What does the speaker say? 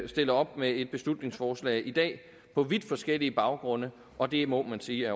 stiller op med et beslutningsforslag i dag på vidt forskellige baggrunde og det må man sige